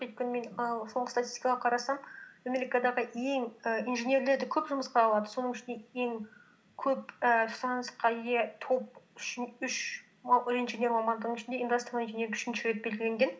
өйкені мен і соңғы статистикаға қарасам америкадағы ең і инженерлерді көп жұмысқа алады соның ішінде ең көп і шансқа ие топ үш инженер мамандығы ішінде индастриал инжиниринг үшінші деп белгіленген